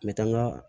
Me taa n ka